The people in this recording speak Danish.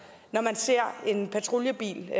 når man ser en patruljebil